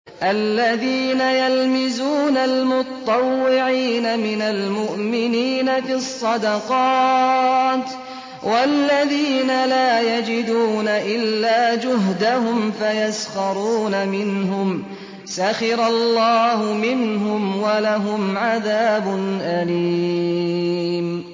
الَّذِينَ يَلْمِزُونَ الْمُطَّوِّعِينَ مِنَ الْمُؤْمِنِينَ فِي الصَّدَقَاتِ وَالَّذِينَ لَا يَجِدُونَ إِلَّا جُهْدَهُمْ فَيَسْخَرُونَ مِنْهُمْ ۙ سَخِرَ اللَّهُ مِنْهُمْ وَلَهُمْ عَذَابٌ أَلِيمٌ